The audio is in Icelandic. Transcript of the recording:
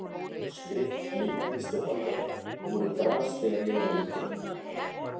Skrift, myndlist og handavinna voru bras þegar ég var yngri.